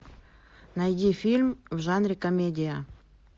найди фильм в жанре комедия